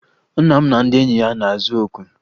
Nna m na ndị enyi ya na-azụ okwe